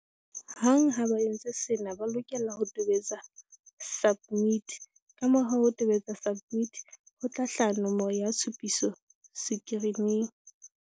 Hang ha ba entse sena, ba lokela ho tobetsa SUBMIT. Kamora ho tobetsa SUBMIT, ho tla hlaha nomoro ya tshupiso sekirining.